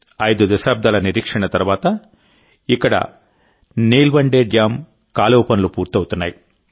ఐదు దశాబ్దాల నిరీక్షణ తర్వాత ఇక్కడ నీల్వండే డ్యామ్ కాలువ పనులు పూర్తవుతున్నాయి